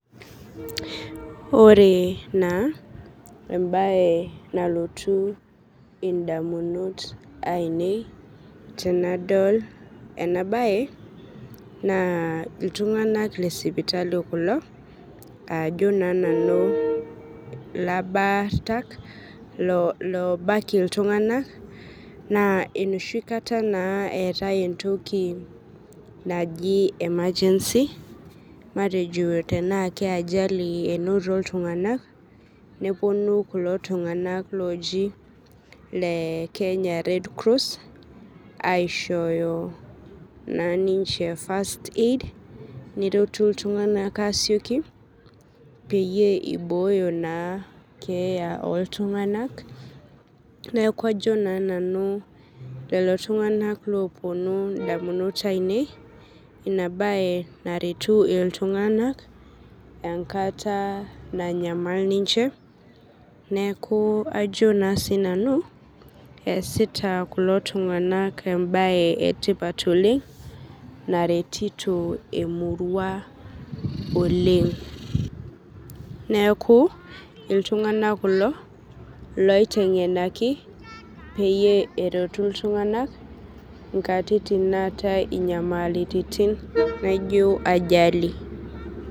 Ore na embae nalotu ndamunot ainei tanadol enabae na ltunganak ajo na nanu labartak lobak ltunganak na enoshikata na eetae entoki naji emergency matejo tana ka ajali inoto ltunganak neponu ltunganak kulo oji le kenya red cross aishooyo na minche first aid neretu ltunganak asieki peyie ibooyo keeya oltunganak neaku ajo na nanu lolotunganak oponu ndamunot ainei inabae naretu ltunganak enkata nanyamal ninche neaku ajo ma sinanu easita kulo tunganak embae etipat oleng naretito emuria oleng neaku ltunganak kulo oitemgenaki peretu ltunganak nkatitin naatae nyamalitin naijo ajali.